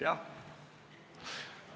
Jah.